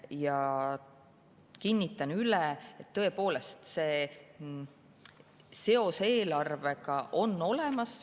Ma kinnitan üle, et tõepoolest on seos eelarvega olemas.